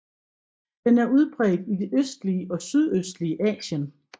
Den er udbredt i det østlige og sydøstlige Asien